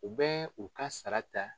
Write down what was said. U bɛ u ka sara ta.